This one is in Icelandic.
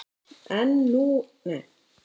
En nú er góðæri.